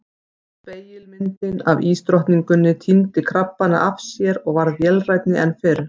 Spegilmyndin af ísdrottninguni týndi krabbana af sér og varð vélrænni en fyrr.